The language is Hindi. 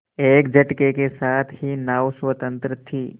एक झटके के साथ ही नाव स्वतंत्र थी